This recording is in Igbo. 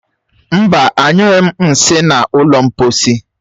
Mba, anyụghi m nsị na ụlọ mposi.